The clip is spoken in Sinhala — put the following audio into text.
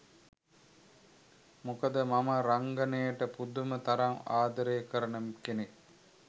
මොකද මම රංගනයට පුදුම තරම් ආදරේ කරන කෙනෙක්.